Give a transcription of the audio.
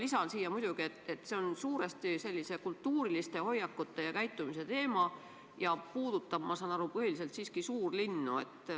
Lisan siia muidugi, et see on suuresti kultuuriliste hoiakute ja käitumise teema ning puudutab, ma saan aru, põhiliselt siiski suurlinnu.